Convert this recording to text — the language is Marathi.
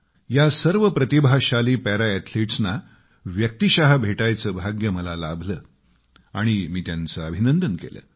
या सर्व प्रतिभाशाली पॅरा अॅथलिट्सना व्यक्तीशः भेटायचं भाग्य मला लाभलं आणि मी त्यांचं अभिनंदन केलं